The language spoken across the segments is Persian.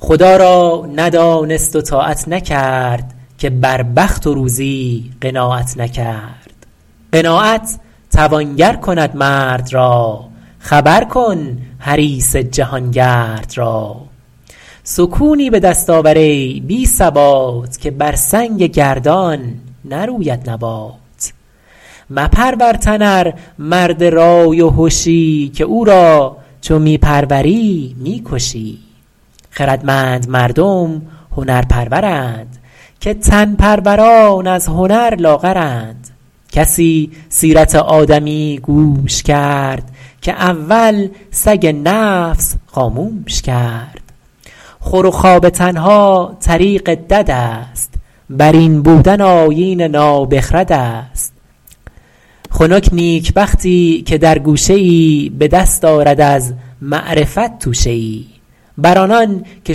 خدا را ندانست و طاعت نکرد که بر بخت و روزی قناعت نکرد قناعت توانگر کند مرد را خبر کن حریص جهانگرد را سکونی به دست آور ای بی ثبات که بر سنگ گردان نروید نبات مپرور تن ار مرد رای و هشی که او را چو می پروری می کشی خردمند مردم هنر پرورند که تن پروران از هنر لاغرند کسی سیرت آدمی گوش کرد که اول سگ نفس خاموش کرد خور و خواب تنها طریق دد است بر این بودن آیین نابخرد است خنک نیکبختی که در گوشه ای به دست آرد از معرفت توشه ای بر آنان که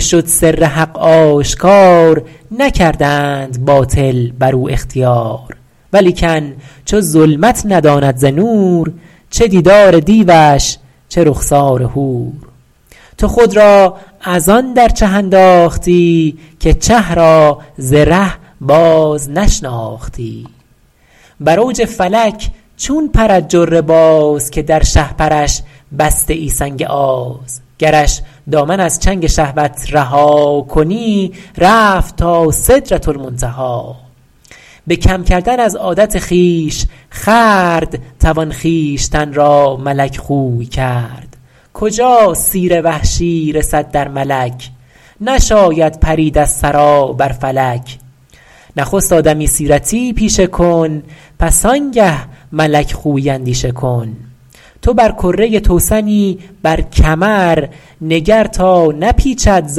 شد سر حق آشکار نکردند باطل بر او اختیار ولیکن چو ظلمت نداند ز نور چه دیدار دیوش چه رخسار حور تو خود را از آن در چه انداختی که چه را ز ره باز نشناختی بر اوج فلک چون پرد جره باز که در شهپرش بسته ای سنگ آز گرش دامن از چنگ شهوت رها کنی رفت تا سدرةالمنتهی به کم کردن از عادت خویش خورد توان خویشتن را ملک خوی کرد کجا سیر وحشی رسد در ملک نشاید پرید از ثری بر فلک نخست آدمی سیرتی پیشه کن پس آن گه ملک خویی اندیشه کن تو بر کره توسنی بر کمر نگر تا نپیچد ز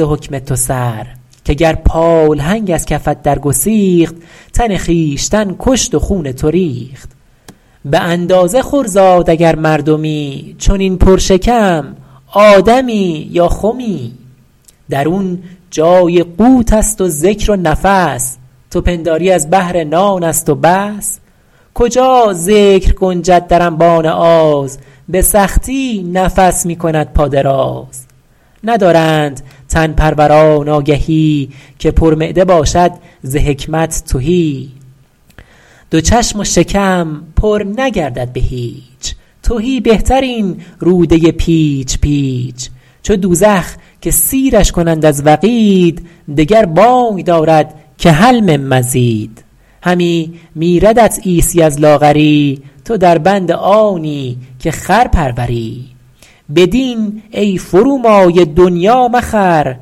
حکم تو سر که گر پالهنگ از کفت در گسیخت تن خویشتن کشت و خون تو ریخت به اندازه خور زاد اگر مردمی چنین پر شکم آدمی یا خمی درون جای قوت است و ذکر و نفس تو پنداری از بهر نان است و بس کجا ذکر گنجد در انبان آز به سختی نفس می کند پا دراز ندارند تن پروران آگهی که پر معده باشد ز حکمت تهی دو چشم و شکم پر نگردد به هیچ تهی بهتر این روده پیچ پیچ چو دوزخ که سیرش کنند از وقید دگر بانگ دارد که هل من مزید همی میردت عیسی از لاغری تو در بند آنی که خر پروری به دین ای فرومایه دنیا مخر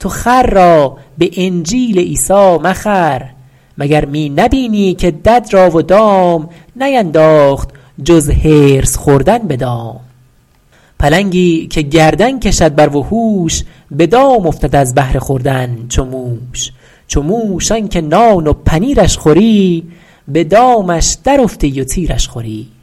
تو خر را به انجیل عیسی مخر مگر می نبینی که دد را و دام نینداخت جز حرص خوردن به دام پلنگی که گردن کشد بر وحوش به دام افتد از بهر خوردن چو موش چو موش آن که نان و پنیرش خوری به دامش در افتی و تیرش خوری